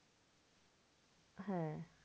হ্যাঁ